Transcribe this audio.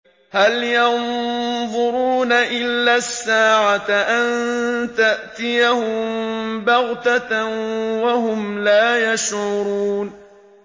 هَلْ يَنظُرُونَ إِلَّا السَّاعَةَ أَن تَأْتِيَهُم بَغْتَةً وَهُمْ لَا يَشْعُرُونَ